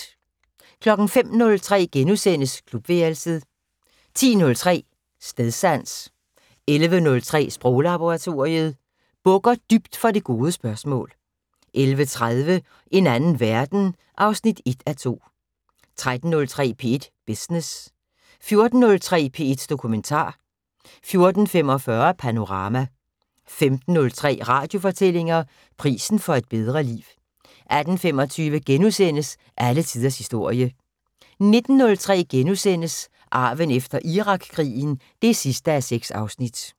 05:03: Klubværelset * 10:03: Stedsans 11:03: Sproglaboratoriet: Bukker dybt for det gode spørgsmål 11:30: En anden verden (1:2) 13:03: P1 Business 14:03: P1 Dokumentar 14:45: Panorama 15:03: Radiofortællinger: Prisen for et bedre liv 18:25: Alle tiders historie * 19:03: Arven efter Irakkrigen (6:6)*